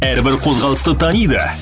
әрбір қозғалысты таниды